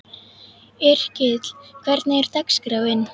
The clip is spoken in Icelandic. Yrkill, hvernig er dagskráin?